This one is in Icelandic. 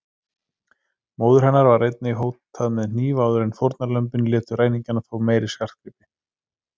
Móður hennar var einnig hótað með hníf áður en fórnarlömbin létu ræningjana fá meiri skartgripi.